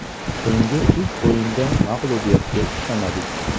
So‘nggi uch o‘yinda mag‘lubiyatga uchramadik.